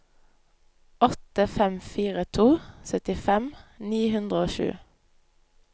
åtte fem fire to syttifem ni hundre og sju